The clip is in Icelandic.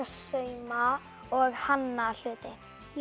sauma og hanna hluti